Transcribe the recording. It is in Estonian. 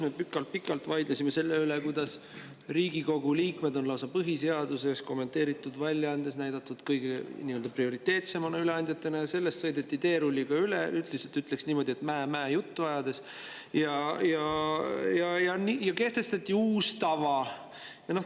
Me pikalt-pikalt vaidlesime selle üle, et Riigikogu liikmed on põhiseaduse kommenteeritud väljaandes näidatud lausa kõige prioriteetsemate üleandjatena, aga sellest sõideti teerulliga üle, ütleksin niimoodi, mää‑mää-juttu ajades, ja kehtestati uus tava.